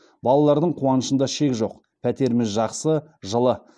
балалардың қуанышында шек жоқ пәтеріміз жақсы жылы